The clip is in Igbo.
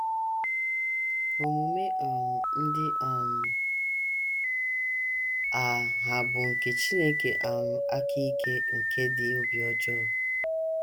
Omume um ndị um a hà bụ nke Chineke um aka ike nke dị obi ọjọọ?